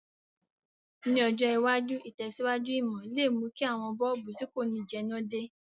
Ní ọjọ̀ iwájú, ìtẹ̀síwájú ìmò le mú ki àwon bulb ti ko ni jẹná de